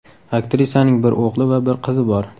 Aktrisaning bir o‘g‘li va bir qizi bor.